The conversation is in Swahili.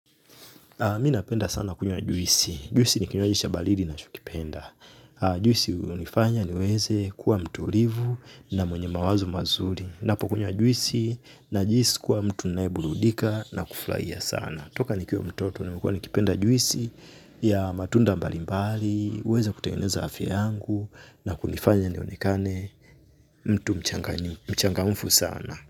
Mi napenda sana kunywa juisi. Juisi ni kinywaji cha baridi nachokipenda. Juisi unifanya niweze kuwa mtulivu na mwenye mawazo mazuri. Napo kunywa juisi najiisi kuwa mtu naebuludika na kuflaia sana. Toka nikiwa mtoto nimekuwa nikipenda juisi ya matunda mbali mbali, uweze kutengeneza afya yangu na kunifanya nionekane mtu mchangamfu sana.